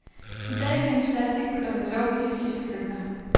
I dag findes plastic bøtter med låg i de fleste køkkener.